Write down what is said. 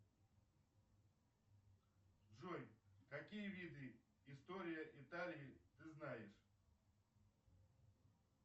джой какие виды истории италии ты знаешь